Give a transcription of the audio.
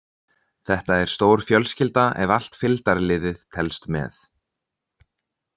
Þetta er stór fjölskylda ef allt fylgdarliðið telst með.